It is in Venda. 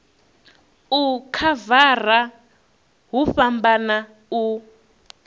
u khavara hu fhambana u